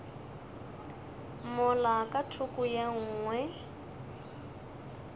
mola ka thoko ye nngwe